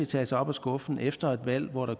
tages op af skuffen efter et valg hvor der